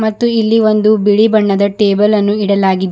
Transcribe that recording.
ಮತ್ತು ಇಲ್ಲಿ ಒಂದು ಬಿಳಿ ಬಣ್ಣದ ಟೇಬಲ್ಲನ್ನು ಇಡಲಾಗಿದೆ.